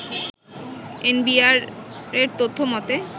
এনবিআর’র তথ্যমতে